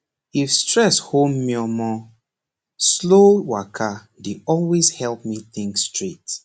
if stress hold meomor slow waka dey always help me think straight